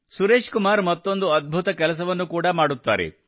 ಸುರೇಶ್ ಕುಮಾರ್ ಮತ್ತೊಂದು ಅದ್ಭುತ ಕೆಲಸವನ್ನು ಕೂಡಾ ಮಾಡುತ್ತಾರೆ